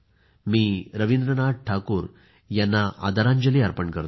मी रवींद्रनाथ ठाकूर यांना आदरांजली अर्पण करतो